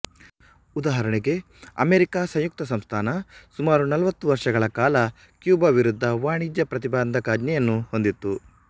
ಉದಾಹರಣೆಗೆ ಅಮೇರಿಕ ಸಂಯುಕ್ತ ಸಂಸ್ಥಾನ ಸುಮಾರು ನಲವತ್ತು ವರ್ಷಗಳ ಕಾಲ ಕ್ಯೂಬಾ ವಿರುದ್ಧ ವಾಣಿಜ್ಯ ಪ್ರತಿಬಂಧಕಾಜ್ಞೆಯನ್ನು ಹೊಂದಿತ್ತು